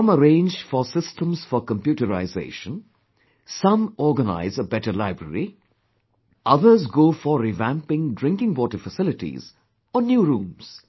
Some arrange for systems for computerization, some organize a better library, others go for revamping drinking water facilities or new rooms